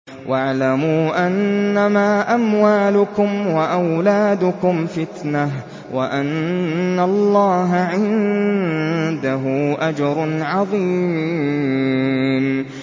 وَاعْلَمُوا أَنَّمَا أَمْوَالُكُمْ وَأَوْلَادُكُمْ فِتْنَةٌ وَأَنَّ اللَّهَ عِندَهُ أَجْرٌ عَظِيمٌ